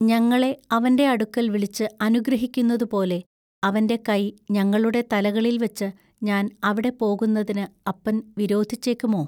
ഞങ്ങളെ അവന്റെ അടുക്കൽ വിളിച്ച് അനുഗ്രഹിക്കുന്നതുപോലെ അവന്റെ കൈ ഞങ്ങളുടെ തലകളിൽ വച്ച് ഞാൻ അവിടെ പോകുന്നതിനു അപ്പൻ വിരോധിച്ചെക്കുമൊ.